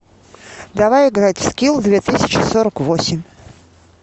давай играть в скил две тысячи сорок восемь